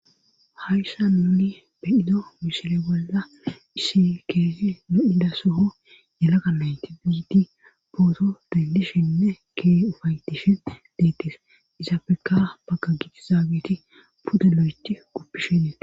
Haysan nun be'ido misile bolla issi keezi lo'ida sohon yelaga nayt kumidi photo dendishenne Keehi upa'etishe detes, izappe ha bagan dizageti pude lo'eth gupishe detesi.